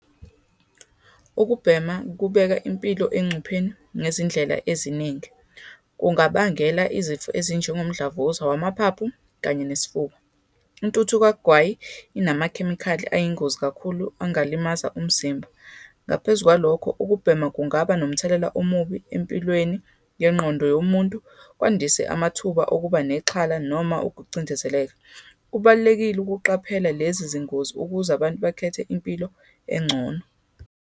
Ukubhema kubeka impilo engcupheni ngezindlela eziningi, kungabangela izifo ezinjengomdlavuza wamaphaphu, kanye nesifuba. Intuthu kagwayi inamakhemikhali ayingozi kakhulu angalimaza umzimba. Ngaphezu kwalokho, ukubhema kungaba nomthelela omubi empilweni yengqondo yomuntu, kwandise amathuba okuba nexhala, noma ukucindezeleka. Kubalulekile ukuqaphela lezi zingozi ukuze abantu bakhethe impilo engcono.